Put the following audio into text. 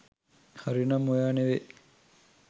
හරිනම් ඔයා නෙවි